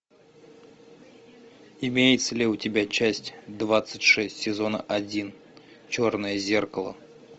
имеется ли у тебя часть двадцать шесть сезона один черное зеркало